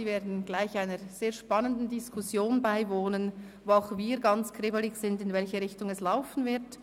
Sie werden gleich einer sehr spannenden Diskussion beiwohnen, bei der auch wir ganz gespannt sind, in welche Richtung sie laufen wird.